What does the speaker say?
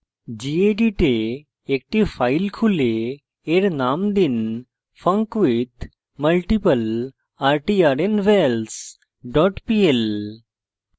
gedit a একটি file খুলে in named দিন funcwithmultiplertrnvals dot pl